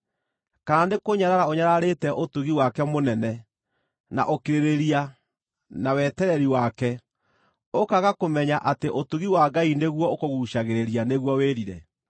Kana nĩkũnyarara ũnyararĩte ũtugi wake mũnene, na ũkirĩrĩria, na wetereri wake, ũkaaga kũmenya atĩ ũtugi wa Ngai nĩguo ũkũguucagĩrĩria nĩguo wĩrire?